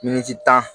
Miniti tan